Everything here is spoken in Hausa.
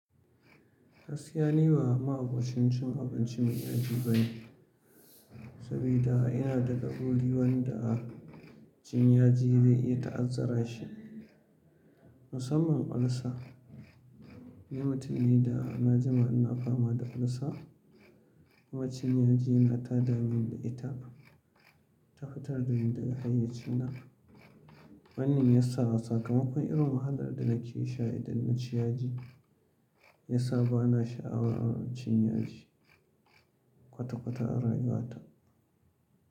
Gaskiya ni ba ma'abocin cin abinci mai yaji bane, sabida yana daga wanda cin yaji zai iya ta'azzara shi. Musamman olsa, ni mutum ne da na jima ina fama da olsa kuma cin yaji nata damin da ita tana fitar da ni daga hayyacina. Wannan ya sa sakamakon irin wahalar da nake sha idan na ci yaji, ya sa ba na sha'awa cin yaji kwata-kwata a rayuwata.